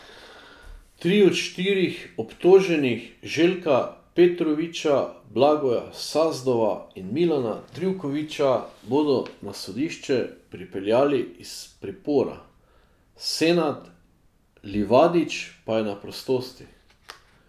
Tri od štirih obtoženih, Željka Petrovića, Blagoja Sazdova in Milana Trivkovića, bodo na sodišče pripeljali iz pripora, Senad Livadić pa je na prostosti.